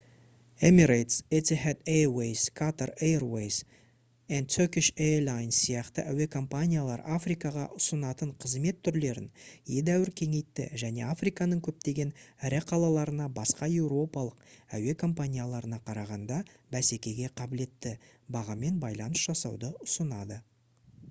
emirates etihad airways qatar airways & turkish airlines сияқты әуе компаниялар африкаға ұсынатын қызмет түрлерін едәуір кеңейтті және африканың көптеген ірі қалаларына басқа еуропалық әуе компанияларына қарағанда бәсекеге қабілетті бағамен байланыс жасауды ұсынады